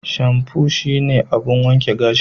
Shamfu shine abun wanke gashi.